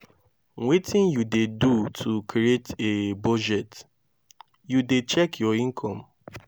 wetin you dey do to create a budget you dey check your income?